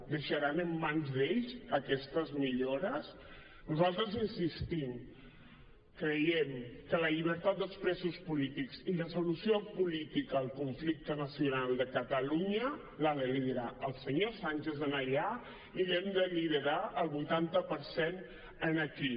deixaran en mans d’ells aquestes millores nosaltres hi insistim creiem que la llibertat dels presos polítics i la solució política al conflicte nacional de catalunya l’ha de liderar el senyor sánchez allà i l’hem de liderar el vuitanta per cent aquí